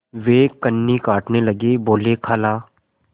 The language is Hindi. वे कन्नी काटने लगे बोलेखाला